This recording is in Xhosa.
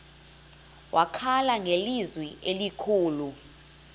wakhala ngelizwi elikhulu